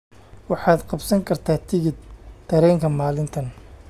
waxaad qabsan kartaa tigidhka tareenka maalintan